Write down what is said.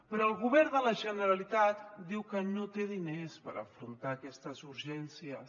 però el govern de la generalitat diu que no té diners per afrontar aquestes urgències